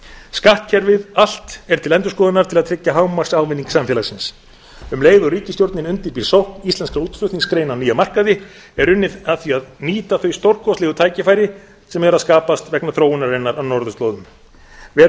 skattkerfið allt er til endurskoðunar til að tryggja hámarksávinning samfélagsins um leið og ríkisstjórnin undirbýr sókn íslenskra útflutningsgreina á nýja markaði er unnið að því að nýta þau stórkostlegu tækifæri sem eru að skapast vegna þróunarinnar á norðurslóðum verið er